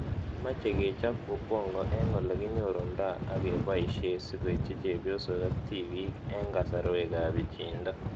Mache kechop Ubongo eng'ole kinyorundoi ak kepoishe sikoitchi chepyosok ak tipik eng' kasarwek ab pichiindo